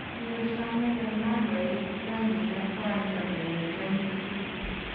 Kiyesha Meghan Markle tilyandit ak kwanda kong'eten kitun.